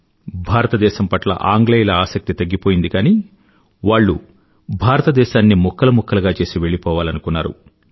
భారతదేశం పట్ల ఆంగ్లేయుల ఆసక్తి తగ్గిపోయింది కానీ వాళ్ళు భారతదేశాన్ని ముక్కలు ముక్కలుగా చేసి వెళ్ళీ పోవాలనుకున్నారు